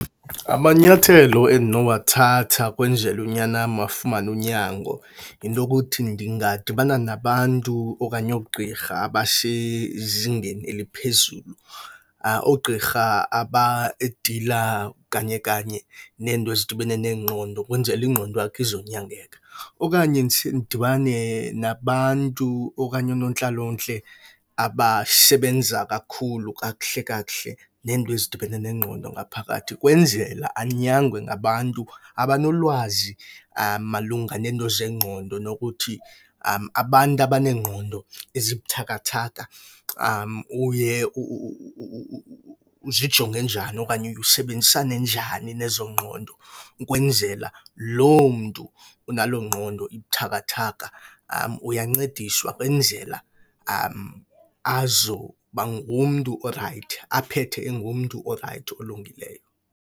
Amanyathelo endinowathatha ukwenzele unyana wam afumane unyango yinto yokuthi ndingadibana nabantu okanye oogqirha abasezingeni eliphezulu. oogqirha abadila kanye kanye neento ezidibene nengqondo kwenzele ingqondo yakhe izonyangeka. Okanye ndise ndidibane nabantu okanye oonontlalontle abasebenza kakhulu kakuhle kakuhle nento ezidibene nengqondo ngaphakathi. Kwenzela anyangwe ngabantu abanolwazi malunga neento zengqondo, nokuthi abantu abaneengqondo ezibuthakathaka uye uzijonge njani okanye uye usebenzisane njani nezo ngqondo. Kwenzela loo mntu unaloo ngqondo ibuthakathaka uyancediswa kwenzela azoba ngumntu orayithi, aphethe engumntu orayithi olungileyo.